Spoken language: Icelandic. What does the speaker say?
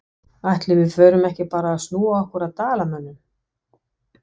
Ætli við förum ekki bara að snúa okkur að Dalamönnum?